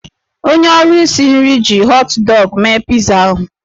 Onye ọrụ isi nri ji họt dọgụ mee pitza ahụ.